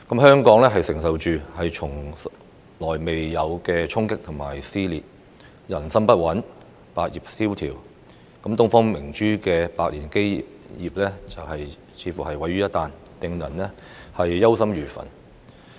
香港承受從未經歷過的衝擊與撕裂，人心不穩，百業蕭條，東方明珠的百年基業幾乎毀於一旦，令人憂心如焚。